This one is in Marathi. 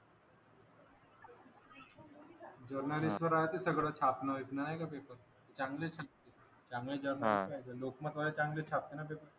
जर्नालिस्ट वर राहतं सगळ छापणं बीपन्न नाही का पेपर चांगलंच आहे चांगल्या जर्नालिस्ट लोकमत वाले चांगले छापतात ना पेपर